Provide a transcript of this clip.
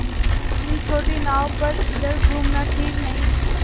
इतनी छोटी नाव पर इधर घूमना ठीक नहीं